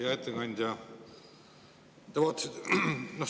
Hea ettekandja!